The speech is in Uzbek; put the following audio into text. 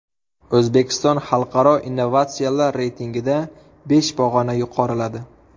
O‘zbekiston Xalqaro innovatsiyalar reytingida besh pog‘ona yuqoriladi.